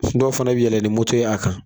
fana yɛlɛn ni moto y'a kan